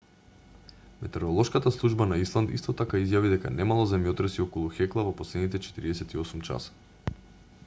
метеоролошката служба на исланд исто така изјави дека немало земјотреси околу хекла во последните 48 часа